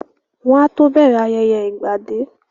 Wọ́n á tó bẹ̀rẹ̀ ayẹyẹ ìgbà dé